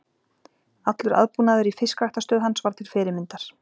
Allur aðbúnaður í fiskræktarstöð hans var til fyrirmyndar.